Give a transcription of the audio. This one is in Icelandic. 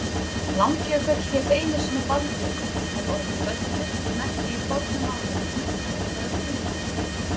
Langjökull hét einu sinni Baldjökull en orðið böllur merkti í fornu máli hnöttur eða kúla.